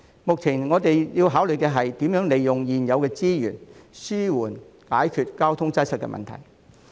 目前我們要考慮的是，如何利用現有資源，緩解交通擠塞的問題。